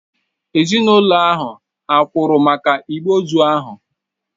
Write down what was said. Ezinụlọ ahụ hà kwụrụ maka igbe ozu ahụ?